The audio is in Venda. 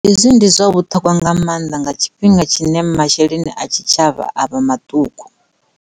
Hezwi ndi zwa vhuṱhogwa nga maanḓa nga tshifhinga tshine ma-sheleni a tshitshavha a vha maṱuku.